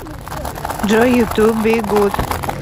джой ютуб би гуд